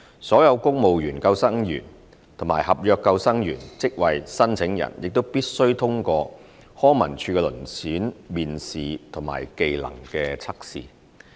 所有公務員救生員及合約救生員職位申請人亦必須通過康文署的遴選面試和技能測試。